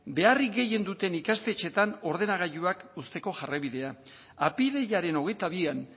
beharrik gehien duten ikastetxeetan ordenagailuak uzteko jarraibidea apirilaren hogeita bian